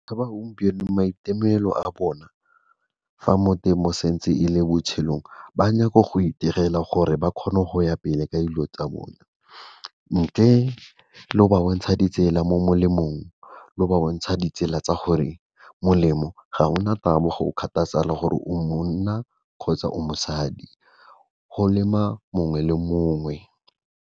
Fa ba gompieno maitemogelo a bona fa mo temo sentse e le botshelong ba nyaka go iterela gore ba kgone go ya pele ka dilo tsa bone, ntle le go ba bontsha ditsela mo molemong lo ba bontsha ditsela tsa gore molemo ga gona taba go gore o mmona kgotsa o mosadi, go lema mongwe le mongwe.